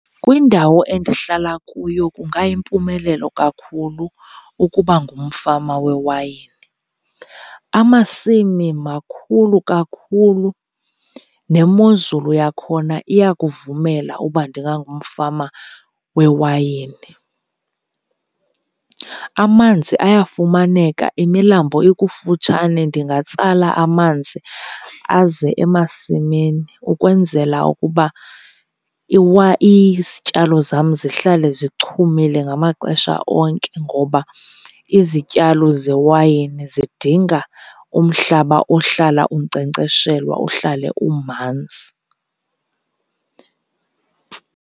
Kwindawo endihlala kuyo kungayimpumelelo kakhulu ukuba ngumfama wewayini. Amasimi makhulu kakhulu nemozulu yakhona iyakuvumela uba ndingangumfama wewayini. Amanzi ayafumaneka, imilambo ikufutshane ndingatsala amanzi aze emasimini ukwenzela ukuba izityalo zam zihlale zichumile ngamaxesha onke ngoba izityalo zewayini zidinga umhlaba ohlala unkcenkceshelwa uhlale umanzi.